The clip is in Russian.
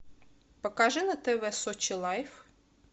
покажи на тв сочи лайф